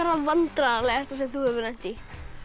það vandræðalegasta sem þú hefur lent í